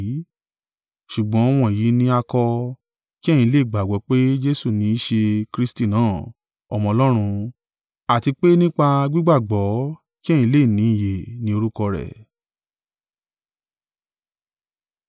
Ṣùgbọ́n wọ̀nyí ni a kọ, kí ẹ̀yin lè gbàgbọ́ pé Jesu ní í ṣe Kristi náà, Ọmọ Ọlọ́run, àti pé nípa gbígbàgbọ́, kí ẹ̀yin lè ní ìyè ní orúkọ rẹ̀.